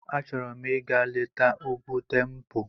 Achọrọ m ịga leta Ugwu Tempo.